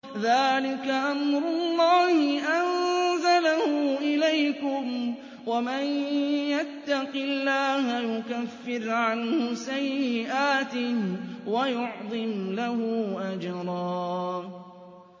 ذَٰلِكَ أَمْرُ اللَّهِ أَنزَلَهُ إِلَيْكُمْ ۚ وَمَن يَتَّقِ اللَّهَ يُكَفِّرْ عَنْهُ سَيِّئَاتِهِ وَيُعْظِمْ لَهُ أَجْرًا